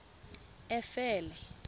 efele